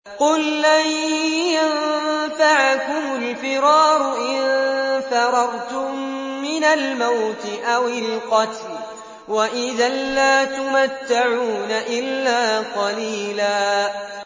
قُل لَّن يَنفَعَكُمُ الْفِرَارُ إِن فَرَرْتُم مِّنَ الْمَوْتِ أَوِ الْقَتْلِ وَإِذًا لَّا تُمَتَّعُونَ إِلَّا قَلِيلًا